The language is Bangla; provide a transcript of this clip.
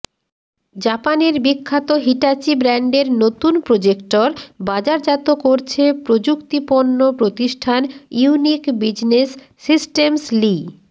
জাপানের বিখ্যাত হিটাচী ব্র্যান্ডের নতুন প্রজেক্টর বাজারজাত করছে প্রযুক্তিপণ্য প্রতিষ্ঠান ইউনিক বিজনেস সিস্টেমস লি